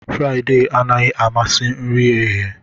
Friday anaghị amasị nri eghe